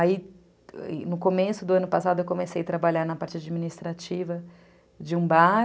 Aí, no começo do ano passado, eu comecei a trabalhar na parte administrativa de um bar.